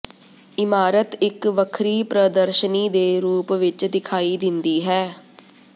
ਇਮਾਰਤ ਇੱਕ ਵੱਖਰੀ ਪ੍ਰਦਰਸ਼ਨੀ ਦੇ ਰੂਪ ਵਿੱਚ ਦਿਖਾਈ ਦਿੰਦੀ ਹੈ